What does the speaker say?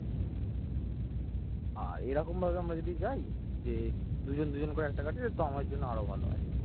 আর এরকমভাবে আমরা যদি যাই যে দুজন দুজন করে একটা গাড়িতে তো আমার জন্য আরো ভালো হয়।